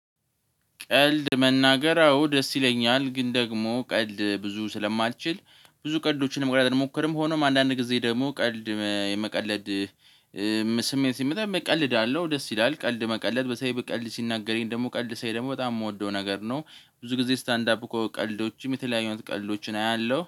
ቀልድ መናገር አዎ ደስ ይለኛል ግን ደግሞ ቀልድ ብዙ ስለማልችል ብዙ ቀልዶችንም አልሞክርም። ሆኖም አንዳንድ ጊዜ ደግሞ ቀልድ የመቀለድ ስሜት ሲመጣ የመቀለድ አለው። ደስ ይላል ቀልድ መቀለድ በሰይብ ቀልድ ሲናገረኝ ደግሞ ቀልድ ሳይ ደግሞ በጣም የምወደው ነገር ነው። ብዙ ጊዜ ስታንድ አፕ ቀልዶችም የተለያዩ አይነት ቀልዶችን አያለው